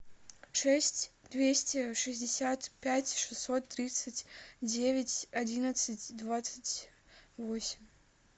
шесть двести шестьдесят пять шестьсот тридцать девять одиннадцать двадцать восемь